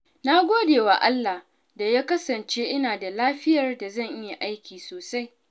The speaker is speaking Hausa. Na gode wa Allah da ya kasance ina da lafiyar da zan iya aiki sosai.